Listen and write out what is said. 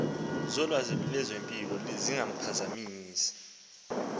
zolwazi lwezempilo zingaphazamisa